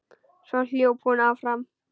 Svo hljóp hún áfram.